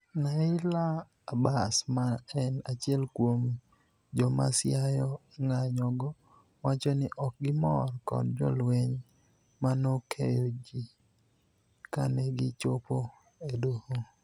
Naila Abass ma en achiel kuom jomasiayo ng'anyogo, wachoni okgimor kod jolweny manokeyogi kanegichopo edoho.